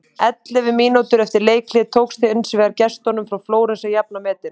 Ellefu mínútum eftir leikhlé tókst hins vegar gestunum frá Flórens að jafna metin.